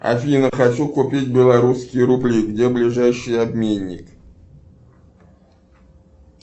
афина хочу купить белорусские рубли где ближайший обменник